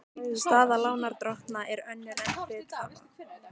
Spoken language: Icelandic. Staða lánardrottna er önnur en hluthafa.